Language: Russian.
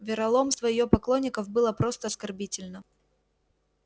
вероломство её поклонников было просто оскорбительно